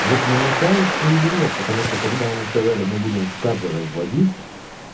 вот мне кажется или нет потому что когда они сказали мы будем как вводить